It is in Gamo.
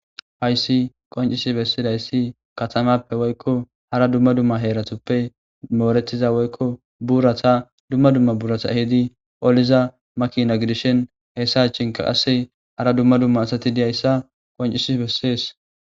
hayssi qoncisi bessidayssi katamappe woykko hara dumma dumma heeratoppe mooretiza woykko buurata dumma dumma buurata hidi oliza makina gidishen heyssa chinka qasse hara dumma dumma asati diyayssa qoncisi bessees.